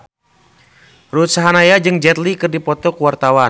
Ruth Sahanaya jeung Jet Li keur dipoto ku wartawan